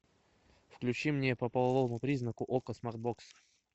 включи мне по половому признаку окко смарт бокс